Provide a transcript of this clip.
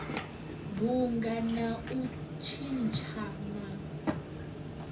bunga na u tshintsha ma